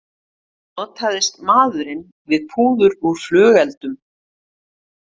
Notaðist maðurinn við púður úr flugeldum